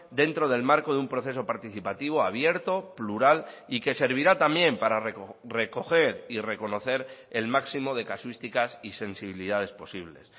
dentro del marco de un proceso participativo abierto plural y que servirá también para recoger y reconocer el máximo de casuísticas y sensibilidades posibles